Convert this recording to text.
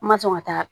N ma sɔn ka taa